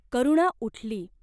करुणा उठली.